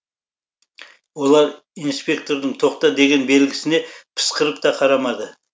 олар инспектордың тоқта деген белгісіне пысқырып та қарамады